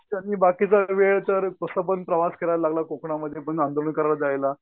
त्यांनी बाकीचा वेळ तर कसं पण प्रवास करायला लागला कोंकणामध्ये पण आंदोलन करायला जायला.